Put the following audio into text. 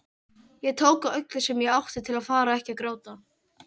Ég tók á öllu sem ég átti til að fara ekki að gráta.